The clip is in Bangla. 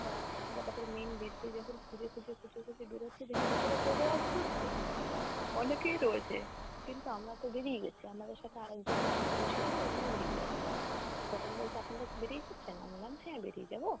তা আমরা তারপরে main gate দিয়ে যখন খুঁজে খুঁজে খুঁজে খুঁজে বেরুচ্ছে দেখি ভেতরে অনেকেই রয়েছে কিন্তু আমরা তো বেরিয়েই গেছি আমাদের সাথে আর একজন না দুজন ছিল উনিও বেরিয়ে গেছে। তখন বলছে আপনারা কি বেরিয়ে গেছেন? আমি বললাম হ্যাঁ বেরিয়ে যাব।